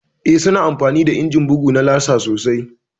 Eh, su na amfani da injimin bugu na laser sosai